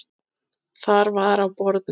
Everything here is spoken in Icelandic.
Þar var á borðum